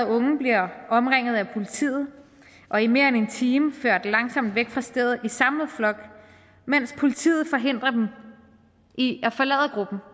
unge bliver omringet af politiet og i mere end en time ført langsomt væk fra stedet i samlet flok mens politiet forhindrer dem i at forlade gruppen